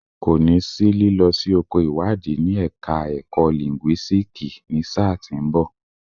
Kò ní sí lílọ sí oko ìwádìí ní ẹ̀ka ẹ̀kọ́ lìńgúísíìkì ní sáà tí ń bọ̀.